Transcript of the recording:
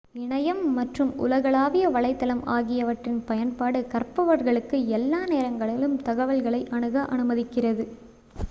இணையம் மற்றும் உலகளாவிய வலைத்தளம் ஆகியவற்றின் பயன்பாடு கற்பவர்களுக்கு எல்லா நேரங்களிலும் தகவல்களை அணுக அனுமதிக்கிறது